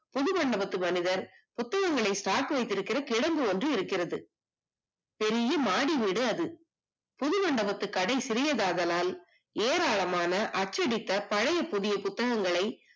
புது மண்டபத்து மனிதர் புத்தகங்களை சாத்திவதித்துக் கொண்டிருக்கிற கிடங்கு ஒன்று இருக்கிறது பெரிய மாடி வீடா அது புதிய மண்டபத்து கடை சிறியதாகளால் ஏராளமாக அச்சடித்த பழைய புதிய புத்தகங்களை